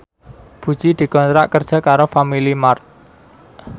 Puji dikontrak kerja karo Family Mart